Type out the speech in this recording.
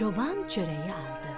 Çoban çörəyi aldı.